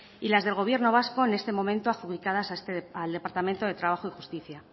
y las del gobierno vasco en este momento adjudicadas al departamento de trabajo y justicia